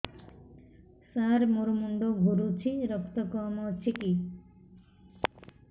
ସାର ମୋର ମୁଣ୍ଡ ଘୁରୁଛି ରକ୍ତ କମ ଅଛି କି